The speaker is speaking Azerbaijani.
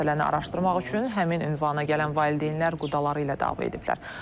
Məsələni araşdırmaq üçün həmin ünvana gələn valideynlər qudaları ilə dava ediblər.